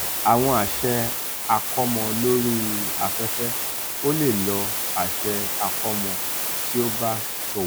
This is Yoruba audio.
awọn aṣẹ akọmọ lori afefe: o le lo aṣẹ akọmọ ti o ba ṣowo.